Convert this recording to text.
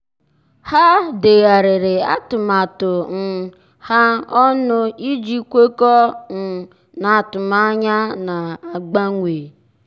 há dèghàrị̀rị̀ atụmatụ um ha ọnụ iji kwekọ́ọ́ um n’átụ́mànyá nà-ágbànwé.